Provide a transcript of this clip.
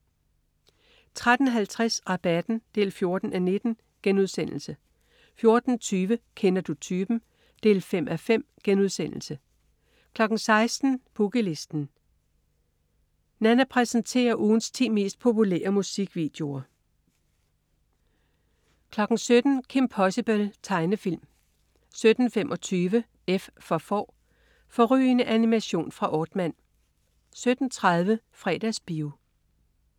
13.50 Rabatten 14:19* 14.20 Kender du typen? 5:5* 16.00 Boogie Listen. Nanna præsenterer ugens ti mest populære musikvideoer 17.00 Kim Possible. Tegnefilm 17.25 F for Får. Fårrygende animation fra Aardman 17.30 Fredagsbio